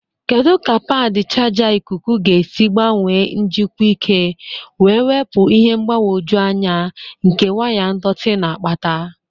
Kedu ka padi chaja ikuku ga-esi gbanwee njikwa ike wee wepụ ihe mgbagwoju anya nke waya ndọtị na-akpata?